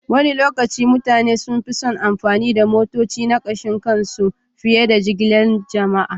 Wani lokaci mutane sun fi son amfani da motocinsu na kashin kansu fiye da jigilar jama'a